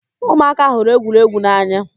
Ụmụaka hụrụ egwuregwu n'anya